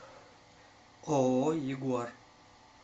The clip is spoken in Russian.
ооо ягуар